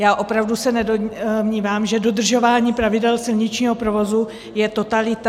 Já opravdu se nedomnívám, že dodržování pravidel silničního provozu je totalita.